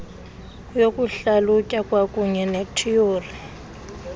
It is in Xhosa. yokuhlalutya kwakuunye nethiyori